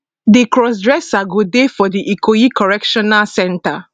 di crossdresser go dey for di ikoyi correctional centre